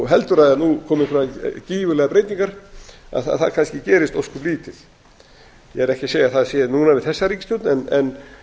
heldur að nú komi einhverjar gífurlegar breytingar að það kannski gerist ósköp lítið ég er ekki að segja að það sé núna við þessa ríkisstjórn en